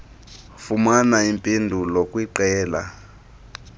fumana iimpendulo kwiqela